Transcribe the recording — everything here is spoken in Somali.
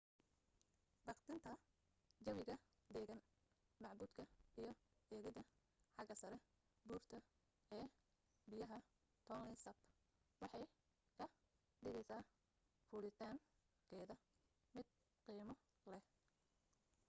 baqdinta jawiga degan macbuudka iyo eegida xaga saree buurta ee biyaha tonle sap waxay ka dhigeysa fulitaan keeda mid qiimo leh